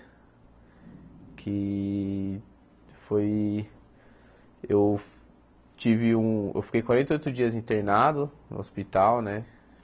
Que foi eu tive um eu fiquei quarenta e oito dias internado no hospital, né?